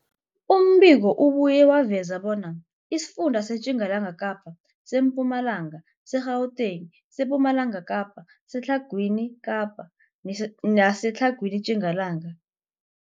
Umbiko ubuye waveza bona isifunda seTjingalanga Kapa, seMpumalanga, seGauteng, sePumalanga Kapa, seTlhagwini Kapa neseTlhagwini Tjingalanga.